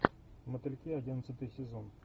мотыльки одиннадцатый сезон